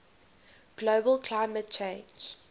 global climate change